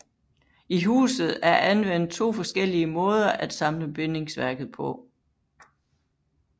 I huset er anvendt to forskellige måder at samle bindingsværket på